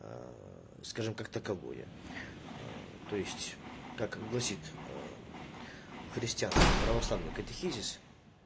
скажем как таковое то есть как гласит христианский православный катехизис